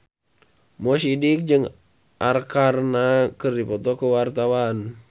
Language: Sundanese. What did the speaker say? Mo Sidik jeung Arkarna keur dipoto ku wartawan